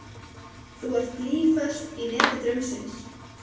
Þú ert blýföst í neti draumsins.